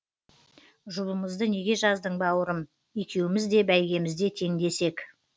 жұбымызды неге жаздың бауырым екеуміз де бәйгемізде теңдес ек